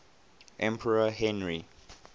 emperor henry